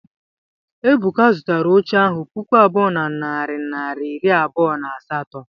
Ebuka zụtara oche ahu puku abụọ na narị naịra iri abụọ na asatọ.